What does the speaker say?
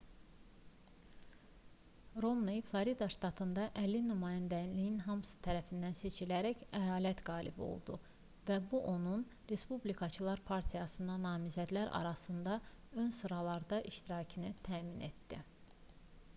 romney florida ştatında əlli nümayəndəliyin hamısı tərəfindən seçilərək əyalət qalibi oldu və bu onun respublikaçılar partiyasına namizədlər arasında ön sıralarda iştirakını təmin etdi